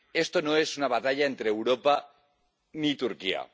Esta no es una batalla entre Europa y Turquía.